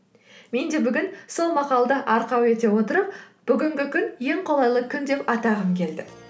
мен де бүгін сол мақалды арқау ете отырып бүгінгі күн ең қолайлы күн деп атағым келді